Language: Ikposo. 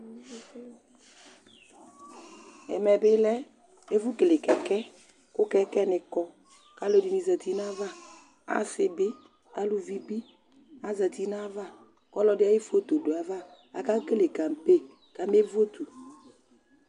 Ɛmɛ bɩ lɛ ɛfʋkele kɛkɛ kʋ kɛkɛnɩ kɔ kʋ alʋɛdɩnɩ zati nʋ ayava Asɩ bɩ, aluvi bɩ azati nʋ ayava Ɔlɔdɩ ayʋ foto dʋ ayava kʋ akekele kampe kamevotu